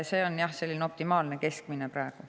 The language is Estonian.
See on jah selline optimaalne keskmine summa praegu.